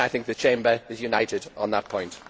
I think the Chamber is united on that point.